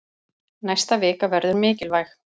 Næsta vika verður mikilvæg.